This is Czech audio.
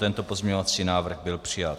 Tento pozměňovací návrh byl přijat.